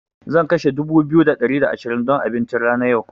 Zan kashe dubu biyu da ɗari da ashirin don abincin tana yau.